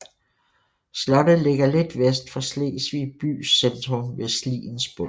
Slottet ligger lidt vest for Slesvig bys centrum ved Sliens bund